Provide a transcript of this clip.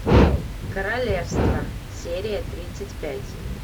королевство серия тридцать пять